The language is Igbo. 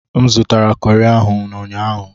M zụtara kọri ahụ n'ụnyaahụ.